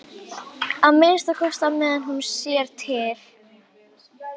Að minnsta kosti á meðan hún sér til.